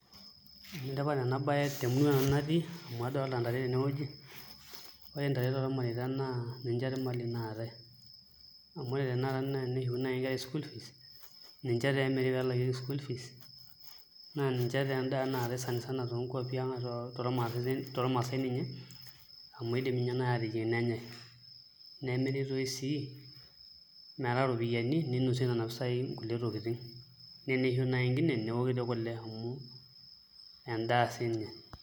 Enetipat enabaye temurua natii amu adolita ntare tenewueji, ore intare tormareita naa ninche imali naatae amu ore tanakata naa teneshukuni enkera school fees ninche taa emiri pee elakieki school fees naa ninche tee endaa naaitai sani sana too nkuapi tormaasai ninye amu indim ninye naai aateyieng' nenyai nemiri toi sii metaa iropiyiani ninosieki nena pisai kulie tokiting' naa teneisho naai enkine neoki kule amu endaa siinye.